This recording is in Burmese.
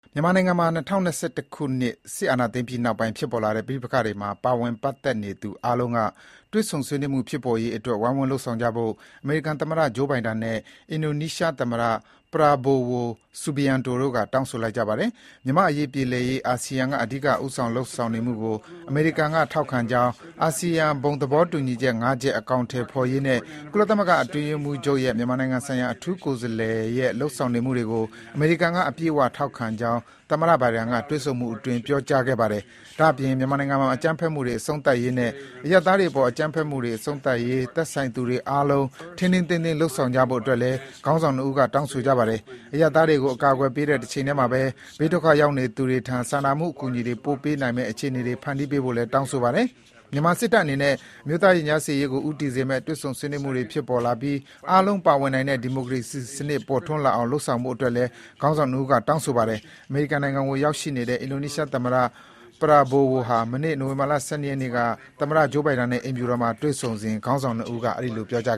မြန်မာနိုင်ငံမှာ ၂၀၂၁ ခုနှစ် စစ်အာဏာသိမ်းပြီးနောက်ပိုင်း ဖြစ်ပေါ်လာတဲ့ ပဋိပက္ခတွေမှာ ပါဝင်ပတ်သက်နေသူတွေအားလုံးက တွေ့ဆုံ ဆွေးနွေးမှုဖြစ်ပေါ်ရေးအတွက် ဝိုင်းဝန်း လုပ်ဆောင်ကြဖို့ အမေရိကန်သမ္မတ Joe Biden နဲ့ အင်ဒိုနီးရှားသမ္မတ Prabowo Subianto တို့က တောင်းဆိုလိုက်ပါတယ်။ မြန်မာ့အရေးပြေလည်ရေး အာဆီယံကအဓိက ဦးဆောင်လုပ်ဆောင်နေမှုကို အမေရိကန်က ထောက်ခံကြောင်း၊ အာဆီယံ ဘုံသဘောတူညီချက် (၅) ချက် အကောင်အထည်ဖော်ရေးနဲ့ ကုလသမဂ္ဂအတွင်းရေးမှူးချုပ်ရဲ့ မြန်မာနိုင်ငံဆိုင်ရာ အထူးကိုယ်စားလှယ်ရဲ့ လုပ်ဆောင်နေမှူတွေကို အမေရိကန်က အပြည့်အဝ ထောက်ခံကြောင်း သမ္မတ Biden က တွေ့ဆုံမှုအတွင်း ပြောကြားခဲ့ပါတယ်။ ဒါ့အပြင် မြန်မာနိုင်ငံမှာ အကြမ်းဖက်မှုတွေ အဆုံးသတ်ရေးနဲ့ အရပ်သားတွေအပေါ် အကြမ်းဖက်မှုတွေ အဆုံးသတ်ရေး သက်ဆိုင်သူအားလုံး ထိန်းထိန်းသိမ်းသိမ်း လုပ်ဆောင်ကြဖို့အတွက်လည်း ခေါင်းဆောင် ၂ ဦးက တောင်းဆိုလိုက်ပါတယ်။ အရပ်သားတွေကို အကာကွယ်ပေးတဲ့ တချိန်ထဲမှာဘဲ ဘေးဒုက္ခရောက်နေသူတွေထံ စာနာမှုအကူအညီတွေ ပို့ပေးနိုင်မယ့် အခြေအနေတွေ ဖန်တီးပေးဖို့လည်း တောင်းဆိုပါတယ်။ မြန်မာစစ်တပ်အနေနဲ့ အမျိုးသားရင်ကြားစေ့ရေးကို ဦးတည်စေမယ့် တွေ့ဆုံဆွေးနွေးမှုတွေ ဖြစ်ပေါ်လာပြီး အားလုံး ပါဝင်နိုင်တဲ့ ဒီမိုကရေစီစနစ် ပေါ်ထွန်းလာအောင် လုပ်ဆောင်ဖို့အတွက်လည်း ခေါင်းဆောင် ၂ ဦးက တောင်းဆိုပါတယ်။ အမေရိကန်နိုင်ငံကို ရောက်ရှိနေတဲ့ အင်ဒိုနီးရှားသမ္မတ Prabowo ဟာ မနေ့ နိုဝင်ဘာ ၁၂ ရက်နေ့က သမ္မတ Biden နဲ့ အိမ်ဖြူတော်မှာ တွေ့ဆုံစဉ် ခေါင်းဆောင် ၂ ဦးက အဲဒီလို ပြောကြား